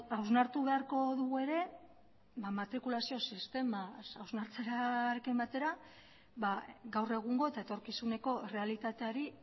hausnartu beharko dugu ere matrikulazio sistema hausnartzearekin batera gaur egungo eta etorkizuneko errealitateari